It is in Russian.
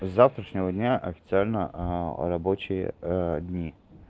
с завтрашнего дня официально рабочие дни